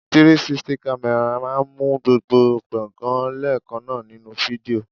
360 camera máa ń mú gbogbo gbongan leekanna nínú fídíò.